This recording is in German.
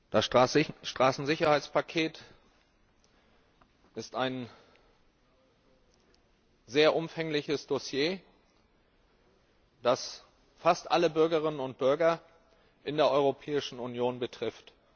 Das Straßensicherheitspaket ist ein sehr umfangreiches Dossier, das fast alle Bürgerinnen und Bürger in der Europäischen Union betrifft.